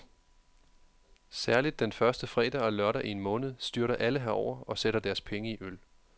Særligt den første fredag og lørdag i en måned, styrter alle herover og sætter deres penge i øl.